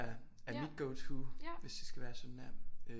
Er mit go to hvis det skal være sådan der